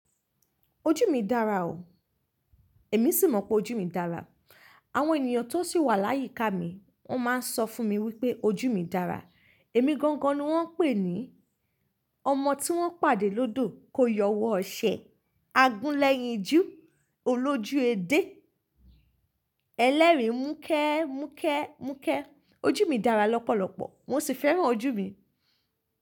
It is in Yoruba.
Ojú mi dára o, èmi sì mọ̀ pé ojú mi dára. Àwọn ènìyàn tó sì wà láyíká mi wọ́n máa ń sọ fún mi wípé ojú mi dára. Èmi gangan ni wọ́n ń pè ní ọmọ tí wọ́n pàdé lódò kó yọwọ́ ọṣẹ, agúnlẹ́yìn jú, olójú edé, ẹlẹ́rìn múkẹ́, múkẹ́, múkẹ́. Ojú mi dára lọ́pọ̀lọpọ̀ mo sì fẹ́ràn ojú mi.